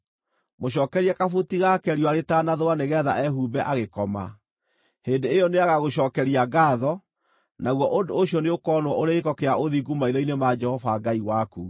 Mũcookerie kabuti gake riũa rĩtanathũa nĩgeetha ehumbe agĩkoma. Hĩndĩ ĩyo nĩagagũcookeria ngaatho, naguo ũndũ ũcio nĩũkonwo ũrĩ gĩĩko kĩa ũthingu maitho-inĩ ma Jehova Ngai waku.